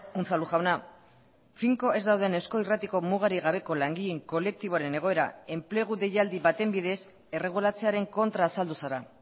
unzalu jauna finko ez dauden eusko irratiko mugarik gabeko langileen kolektiboaren egoera enplegu deialdi baten bidez erregulatzearen kontra azaldu zara